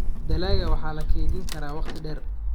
Dalagga waxa la kaydin karaa wakhti dheer.